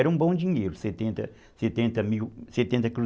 Era um bom dinheiro, setenta setenta mil, setenta cru